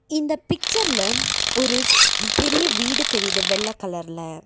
இந்தப் பிச்சர்ல ஒரு ஒரு பெரிய வீடு தெரியுது வெள்ள கலர்ல .